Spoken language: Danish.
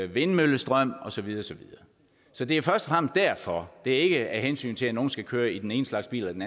vindmøllestrøm osv så det er først og derfor det er ikke af hensyn til at nogle skal køre i den ene slags bil eller den